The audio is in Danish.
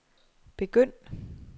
begynd